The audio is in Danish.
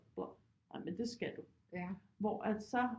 Bla nej men det skal du hvor at så